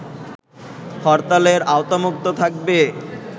হরতালের আওতামুক্ত থাকবে